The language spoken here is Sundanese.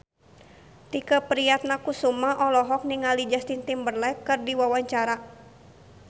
Tike Priatnakusuma olohok ningali Justin Timberlake keur diwawancara